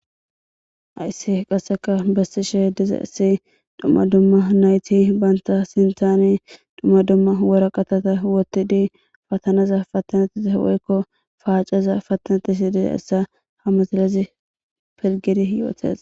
Haysi qaseka besishe dizaysi duma duma nayti banta sinthani duma duma woraqataza wothidi patanaza patanetishe woyko paceza patanetishe dizaysa ha misilezi pilgidi yootes